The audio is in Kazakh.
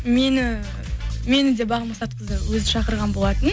мені мені де бағым мақсатқызы өзі шақырған болатын